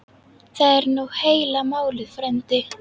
Það er nú heila málið frændi.